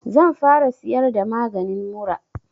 Zan fara siyar da maganin mura